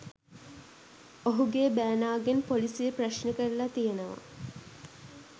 ඔහුගේ බෑනාගෙන් පොලිසිය ප්‍රශ්න කරලා තියෙනවා.